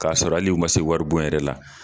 K'a sɔrɔ hali ma se wari bon yɛrɛ la.